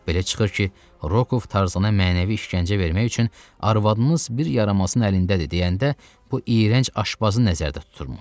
Belə çıxır ki, Rokoff Tarzana mənəvi işgəncə vermək üçün arvadınız bir yaramazın əlindədir deyəndə bu iyrənc aşpazı nəzərdə tutubmuş.